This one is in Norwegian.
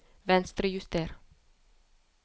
Venstrejuster